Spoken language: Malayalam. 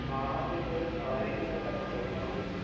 ആ പക്ഷേ ഞങ്ങൾ കാണാത്ത ഒരുപാട് കാര്യങ്ങൾ അവിടെ അട്ടപ്പാടിയിൽ കാണാൻ പറ്റി.